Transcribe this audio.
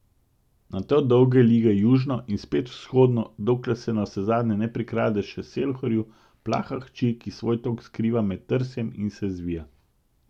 Nato dolge lige južno in spet vzhodno, dokler se navsezadnje ne prikrade še Selhoru, Plaha hči, ki svoj tok skriva med trsjem in se zvija.